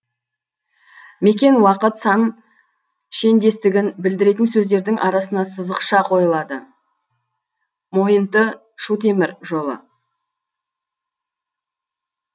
мекен уақыт сан шендестігін білдіретін сөздердің арасына сызықща қойылады мойынты шу темір жолы